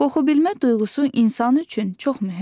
Qoxubilmə duyğusu insan üçün çox mühümdür.